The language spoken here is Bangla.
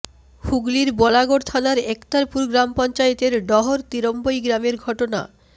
হুগলির বলাগড় থানার একতারপুর গ্রাম পঞ্চায়েতের ডহর তিরন্বই গ্রামের ঘটনা